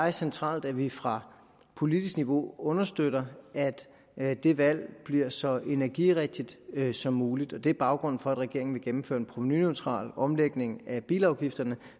er centralt at vi fra politisk niveau understøtter at det valg bliver så energirigtigt som muligt det er baggrunden for at regeringen vil gennemføre en provenuneutral omlægning af bilafgifterne